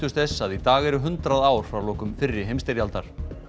þess að í dag eru hundrað ár frá lokum fyrri heimsstyrjaldar